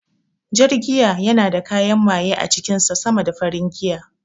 Jar giya yana da kayan maye a cikin sa sama da farin giya